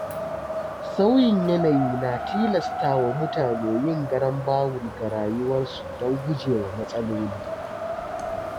Sauyin yanayi na tilasta wa mutane yin garambawul ga rayuwarsu don gujewa matsaloli.